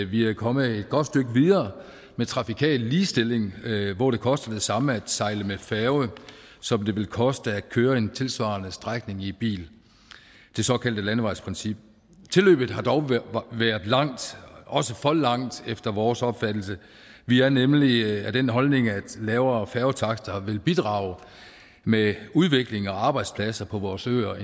vi er kommet et godt stykke videre med trafikal ligestilling hvor det koster det samme at sejle med færge som det vil koste at køre en tilsvarende strækning i bil det såkaldte landevejsprincip tilløbet har dog været langt også for langt efter vores opfattelse vi er nemlig af den holdning at lavere færgetakster vil bidrage med udvikling og arbejdspladser på vores øer og